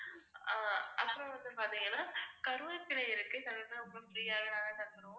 அப்புறம் வந்து பாத்தீங்கன்னா கருவேப்பிலை இருக்கு, கருவேப்பிலை உங்களுக்கு free யாவே நாங்க தந்துருவோம்